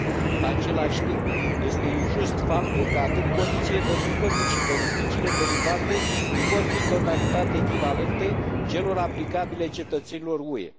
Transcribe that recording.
În același timp, este injust faptul că atât condițiile de muncă, cât și beneficiile derivate nu vor fi în totalitate echivalente celor aplicabile cetățenilor UE.